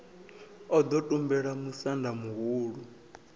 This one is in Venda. o ḓo tumbula musanda muhulu